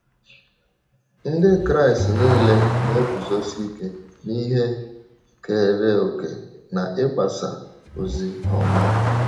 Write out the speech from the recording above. Ndị Kraịst nile na - eguzosi ike n’ihe keere òkè n’ịgbasa ozi ọma.